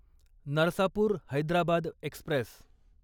Narsapur Hyderabad Express